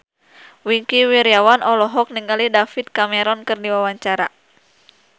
Wingky Wiryawan olohok ningali David Cameron keur diwawancara